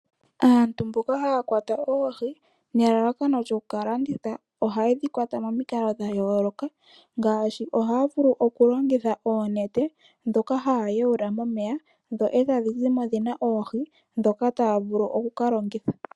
Aantu mboka haya kwata oohi nelalakano lyoku ka landitha ohaye dhi kwata momikalo dha yooloka ngaashi ohaya vulu okulongitha oonete ndhoka haya yawula momeya dho tadhi zi mo dhi na oohi ndhoka taya vulu oku ka longitha.